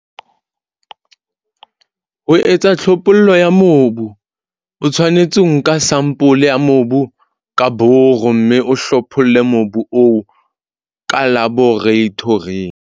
Ho etsa tlhophollo ya mobu o tshwanetse ho nka sampole ya mobu ka boro, mme o hlopholle mobu oo ka laboratoring.